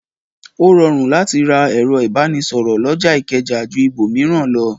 Ó rọrùn láti ra ẹ̀rọ̀ ìbánisọ̀rọ̀ lọjà ìkẹjà ju ibòmíràn lọ.